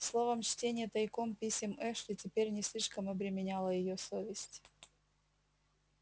словом чтение тайком писем эшли теперь не слишком обременяло её совесть